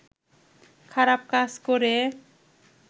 খারাপ কাজ করে